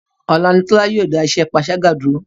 Ọ̀la ni Tọ́lá yóò dá iṣẹ́ panṣágà dúró.